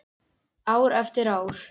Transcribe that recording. Ár eftir ár.